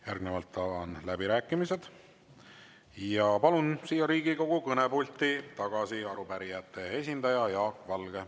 Järgnevalt avan läbirääkimised ja palun siia Riigikogu kõnepulti tagasi arupärijate esindaja Jaak Valge.